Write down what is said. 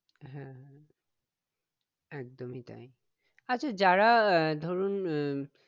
হ্যাঁ একদমই তাই আচ্ছা যারা আহ ধরুন উম